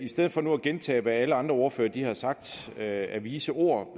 stedet for nu at gentage hvad alle andre ordførere har sagt af vise ord